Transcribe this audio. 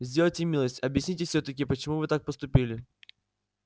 сделайте милость объясните всё-таки почему вы так поступили